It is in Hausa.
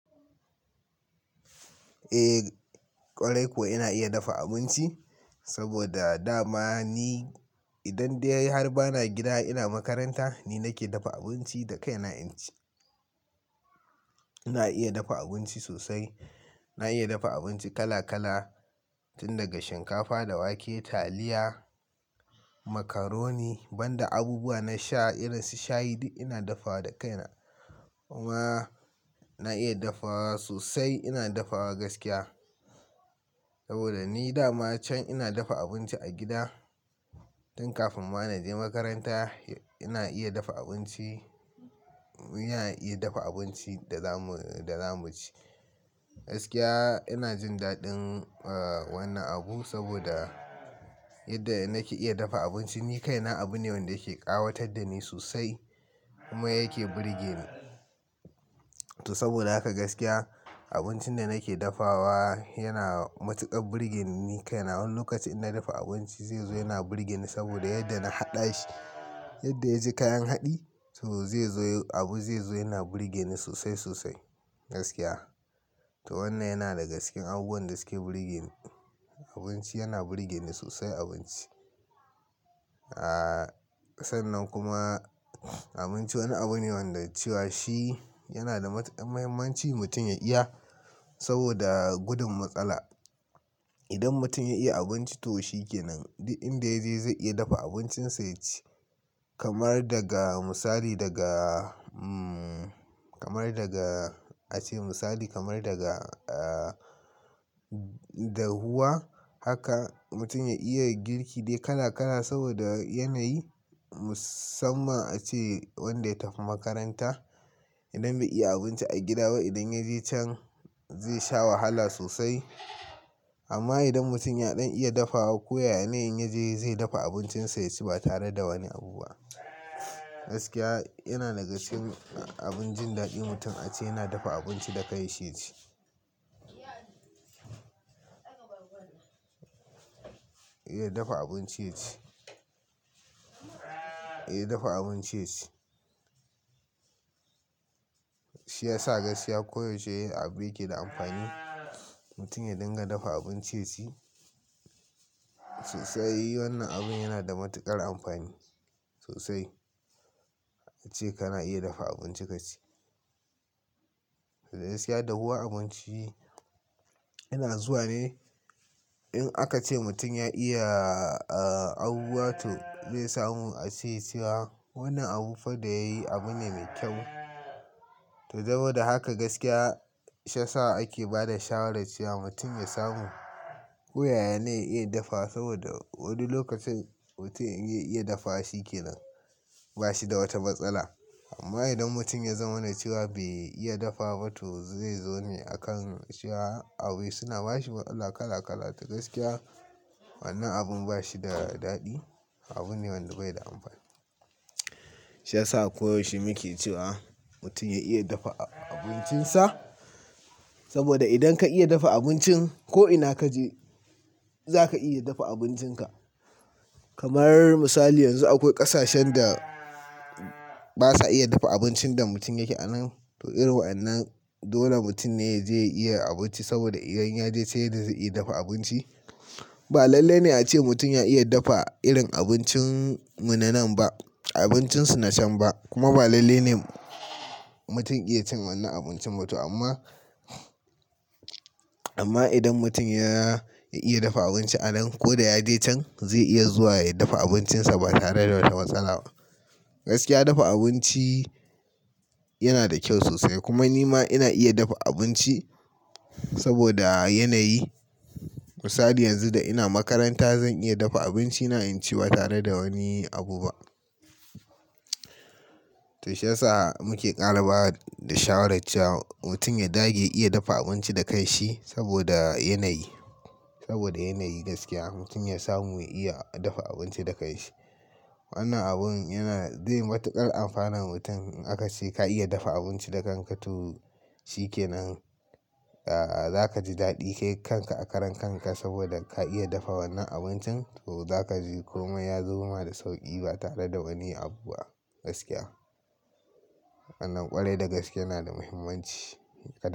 Eh, ƙwarai kuwa ina iya dafa abinci, saboda dama ni idan dai har bana gida, ina makaranta ni nake dafa abinci da kaina inci. Ina iya dafa abinci sosai. Na iya dafa abinci kala kala, tun daga shinkafa da wake, taliya, macaroni, banda abubuwa na sha irin su shayi, duk ina dafawa da kaina. Kuma na iya dafawa sosai, ina dafawa gaskiya. Saboda ni dama can ina dafa abinci a gida tun kafin ma na je makaranta, ina iya dafa abinci, ina iya dafa abinci da za mu, da za mu ci. Gaskiya ina jin daɗin, ah, wannan abun saboda yadda na ke iya dafa abinci ni kaina abu ne wanda yake ƙawatar da ni sosai, kuma yake burge ni. To, saboda haka gaskiya abincin da nake dafawa yana matuƙar burge ni, ni kaina wani lokaci ina dafa abinci zai zo yana burge ni, saboda yadda na haɗa shi, yadda ya ji kayan haɗi, to zai zo abu zai zo yana burge ni sosai sosai gaskiya. To wannan yana daga cikin abubuwan da suke burge ni. Abinci yana burge ni sosai abinci. Sannan kuma abinci wani abu ne wanda cewa shi yana da matuƙar muhimmanci mutum ya iya, saboda gudun matsala. Idan mutum ya iya abinci to shi ke nan, duk inda ya je zai iya dafa abincinsa ya ci. Kamar daga misali daga, kamar daga, ace misali kamar daga, dahuwa haka mutum ya iya girki dai kala kala saboda yanayi. Musamman ace wanda ya tafi makaranta, idan bai iya abinci a gida ba idan ya je can zai sha wahala sosai. Amma idan mutum ya ɗan iya dafawa, ko ya ya ne in ya je zai dafa abincinsa ya ci ba tare da wani abu ba. Gaskiya yana daga cikin abin jin daɗin mutum ace yana dafa abinci da kai shi ya ci. Iya dafa abinci ya ci, iya dafa abinci ya ci. Shi ya sa gaskiya koyaushe iya abu yake da amfani, mutum ya dinga dafa abinci ya ci. Sosai, wannan abun yana da matuƙar amfani sosai, ace kana iya dafa abinci ka ci. Gaskiya dahuwa abinci, yana zuwa ne in aka ce mutum ya iya, abubuwa to zai samu. Ace cewa wannan abu fada yayi abu ne mai kyau. To, saboda haka gaskiya shiyasa ake ba da shawarar cewa mutum ya samu ko ya yanayi iya dafawa, saboda wani lokacin mutum in ya iya dafa shi ke nan ba shi da wata matsala. Amma idan mutum ya zamana cewa bai iya dafa ba to zai zo ne a kan cewa abu suna ba shi matsala kala kala. To gaskiya wannan abun ba shi da daɗi, abu ne wanda bai da amfani. Shiyasa koyaushe muke cewa, mutum ya iya dafa abincinsa, saboda idan ka iya dafa abincin ko ina kaje za ka iya dafa abincinka. Kamar misali yanzu akwai ƙasashen da basa iya dafa abincin da mutum yake anan. To, irin wa'innan dole mutum ne ya je ya iya abinci, saboda idan ya je sai yanzu zai iya dafa abinci. Ba lalle ne ace mutum ya iya dafa irin abincin mu na nan ba, abincin su na can ba. Kuma ba lalle ne mutum iya cin wannan abincin ba to amma, amma idan mutum ya, ya iya dafa abinci anan ko da ya je can, zai iya zuwa ya dafa abincinsa ba tare da wata matsala ba. Gaskiya dafa abinci yana da kyau sosai kuma ni ma ina iya dafa abinci saboda yanayi. Misali yanzu da ina makaranta zan iya dafa abinci na inci ba tare da wani abu ba. To, shiyasa muke ƙara ba da shawarar cewa mutum ya dage iya dafa abinci da kai shi, saboda yanayi. Saboda yanayi gaskiya, mutum ya samu iya dafa abinci da kai shi. Wannan abun yana, zai matuƙar amfanan mutum in aka ce ka iya dafa abinci da kanka to shi ke nan, za ka ji daɗi kai kanka a karan kanka saboda ka iya dafa wannan abincin, to za ka ji kuma ya zo ma da sauƙi ba tare da wani abu ba gaskiya. Wannan ƙwarai da gaske yana da muhimmanci, ƙwarai.